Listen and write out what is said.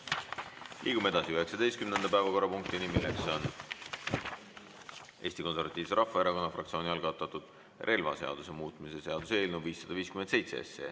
Liigume 19. päevakorrapunkti juurde: Eesti Konservatiivse Rahvaerakonna fraktsiooni algatatud relvaseaduse muutmise seaduse eelnõu 557.